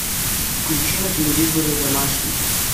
включи на телевизоре домашний